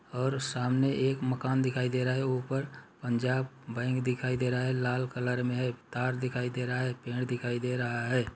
और सामने एक मकान दिखाई दे रहा हैऊपर पंजाब बैंक दिखाई दे रहा हैलाल कलर में तार दिखाई दे रहा हैपेड़ दिखाई दे रहा है।